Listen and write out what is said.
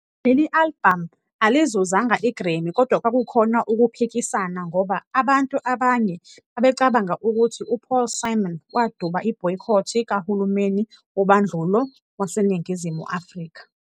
Leli albhamu alizuzanga i-Grammy kodwa kwakukhona ukuphikisana ngoba abantu abanye babecabanga ukuthi uPaul Simon waduba ibhoyikhothi kahulumeni wobandlulo waseNingizimu Afrika.